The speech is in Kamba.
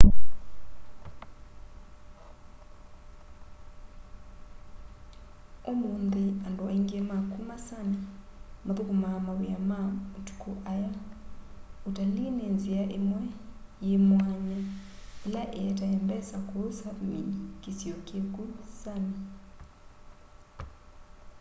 umunthi andu aiingi ma kuma sami makthukumaa mawia ma mutuku aya utalii ni nzia imwe yi mwanya ila ietae mbesa ku sapmi kisio kiku sami